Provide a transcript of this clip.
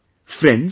Friends,